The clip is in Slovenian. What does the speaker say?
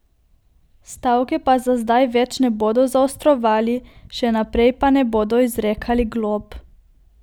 Stavke pa za zdaj več ne bodo zaostrovali, še naprej pa ne bodo izrekali glob.